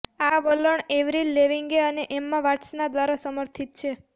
આ વલણ Avril Lavigne અને એમ્મા વાટ્સન દ્વારા સમર્થિત છે